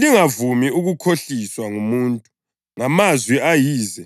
Lingavumi ukukhohliswa ngumuntu ngamazwi ayize